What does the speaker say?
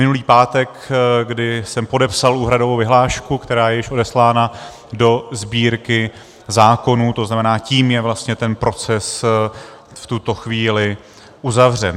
Minulý pátek, kdy jsem podepsal úhradovou vyhlášku, která je již odeslána do Sbírky zákonů, to znamená, tím je vlastně ten proces v tuto chvíli uzavřen.